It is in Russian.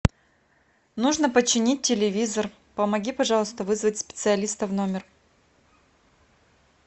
нужно починить телевизор помоги пожалуйста вызвать специалиста в номер